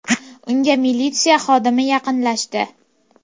Unga militsiya xodimi yaqinlashdi.